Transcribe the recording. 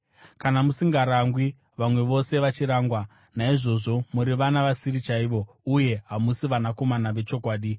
Kana musingarangwi (vamwe vose vachirangwa), naizvozvo muri vana vasiri chaivo uye hamusi vanakomana vechokwadi.